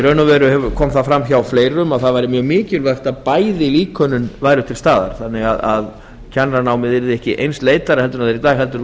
í raun og veru kom það fram hjá fleirum að bæði líkönin væru til staðar þannig að kennaranámið yrði ekki einsleitara en það er í dag heldur